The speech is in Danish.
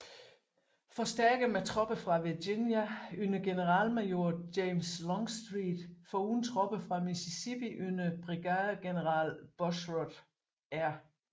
Forstærket med tropper fra Virginia under generalmajor James Longstreet foruden tropper fra Mississippi under brigadegeneral Bushrod R